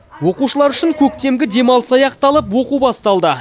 оқушылар үшін көктемгі демалыс аяқталып оқу басталды